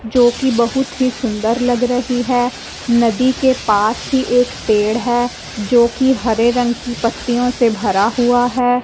जोकि बहुत ही सुंदर लग रही है नदी के पास ही एक पेड़ है जोकि हरे रंग की पत्तियों से भरा हुआ हैं।